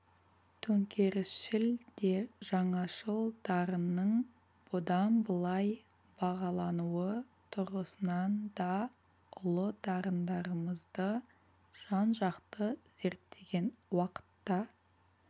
төңкерісшіл де жаңашыл дарынның бұдан былай бағалануы тұрғысынан да ұлы дарындарымызды жан-жақты зерттеген уақытта